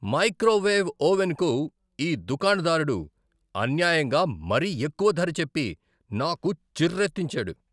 Microwave ఓవెన్కు ఈ దుకాణదారుడు అన్యాయంగా మరీ ఎక్కువ ధర చెప్పి నాకు చిర్రెత్తించాడు.